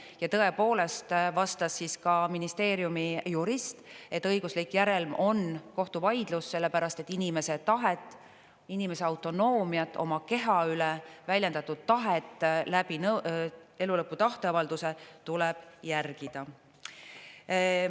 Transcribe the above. Ja tõepoolest vastas siis ka ministeeriumi jurist, et õiguslik järelm on kohtuvaidlus, sellepärast et inimese tahet, inimese autonoomiat oma keha üle, väljendatud tahet läbi elulõpu tahteavalduse tuleb järgida.